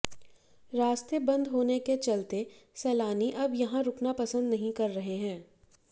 रास्ते बंद होने के चलते सैलानी अब यहां रुकना पंसद नहीं कर रहे हैं